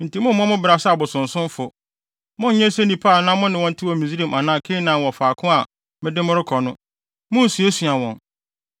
enti mommmɔ mo bra sɛ abosonsomfo. Monnyɛ sɛ nnipa a na mo ne wɔn te wɔ Misraim anaa Kanaan wɔ faako a mede mo rekɔ no. Munnsuasua wɔn.